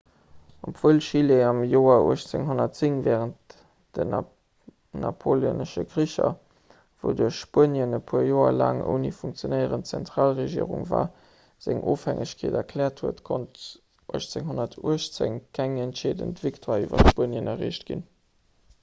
obwuel chile am joer 1810 wärend den napoleonesche kricher wouduerch spuenien e puer joer laang ouni funktionéierend zentralregierung war seng onofhängegkeet erkläert huet konnt bis 1818 keng entscheedend victoire iwwer spuenien erreecht ginn